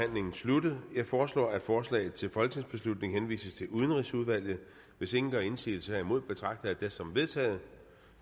sluttet jeg foreslår at forslaget til folketingsbeslutning henvises til udenrigsudvalget hvis ingen gør indsigelse herimod betragter jeg det som vedtaget